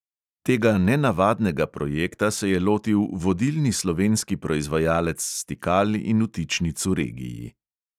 Tega nenavadnega projekta se je lotil vodilni slovenski proizvajalec stikal in vtičnic v regiji.